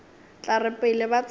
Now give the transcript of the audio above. tla re pele ba tsena